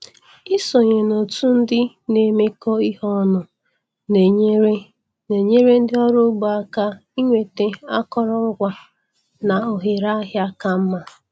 Ịsonye n'òtù ndị na-emekọ ihe ọnụ na-enyere na-enyere ndị ọrụ ugbo aka ịnweta akụrụngwa na ohere ahịa ka mma.